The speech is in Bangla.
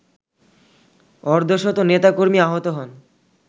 অর্ধশত নেতাকর্মী আহত হন